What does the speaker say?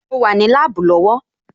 Mo wà ní láàbù lọ́wọ́